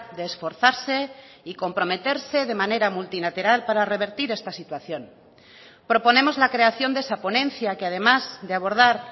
de esforzarse y comprometerse de manera multilateral para revertir esta situación proponemos la creación de esa ponencia que además de abordar